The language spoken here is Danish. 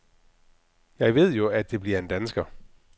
Jeg ved jo, at det bliver en dansker.